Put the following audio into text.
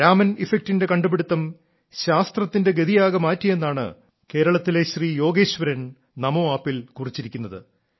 രാമൻ ഇഫക്ടിന്റെ കണ്ടുപിടുത്തം ശാസ്ത്രത്തിന്റെ ഗതിയാകെ മാറ്റിയെന്നാണ് കേരളത്തിലെ യോഗേശ്വരൻ നമോ ആപ്പിൽ കുറിച്ചിരിക്കുന്നത്